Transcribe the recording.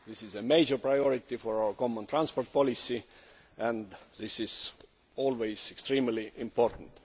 This is a major priority for our common transport policy and this is always extremely important.